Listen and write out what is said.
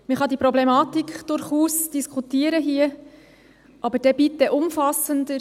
Man kann die Problematik hier durchaus diskutieren, aber dann bitte umfassender.